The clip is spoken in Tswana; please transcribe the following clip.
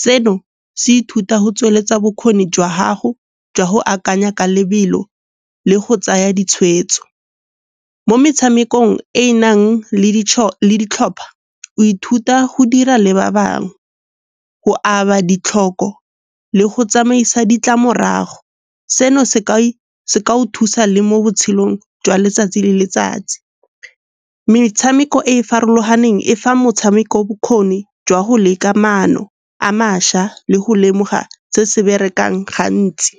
Seno se ithuta go tsweletsa bokgoni jwa gago jwa go akanya ka lebelo le go tsaya ditshwetso. Mo metshamekong e nang le ditlhopha o ithuta go dira le ba bangwe, go aba ditlhoko le go tsamaisa ditlamorago, seno se kao thusa le mo botshelong jwa letsatsi le letsatsi. Metshameko e e farologaneng e fa motshameko bokgoni jwa go leka maano a mašwa le go lemoga se se berekang gantsi.